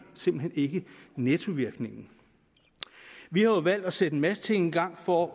nettovirkningen vi har jo valgt at sætte en masse ting i gang for